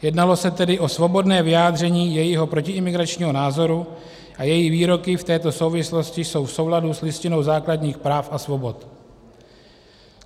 Jednalo se tedy o svobodné vyjádření jejího protiimigračního názoru a její výroky v této souvislosti jsou v souladu s Listinou základních práv a svobod.